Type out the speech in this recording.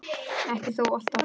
Ekki þó alltaf.